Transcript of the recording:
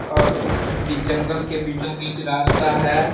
और जंगल के बीचो बीच रास्ता है ।